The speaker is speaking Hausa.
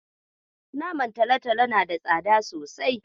Naman talatalo na da tsada sosai.